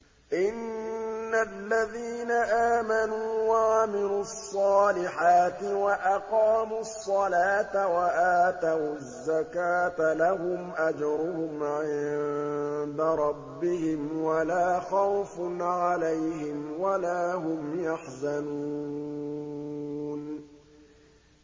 إِنَّ الَّذِينَ آمَنُوا وَعَمِلُوا الصَّالِحَاتِ وَأَقَامُوا الصَّلَاةَ وَآتَوُا الزَّكَاةَ لَهُمْ أَجْرُهُمْ عِندَ رَبِّهِمْ وَلَا خَوْفٌ عَلَيْهِمْ وَلَا هُمْ يَحْزَنُونَ